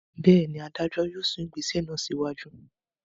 Bẹ́ẹ̀ ni, adájọ́ yóò sún ìgbésẹ̀ náà síwájú.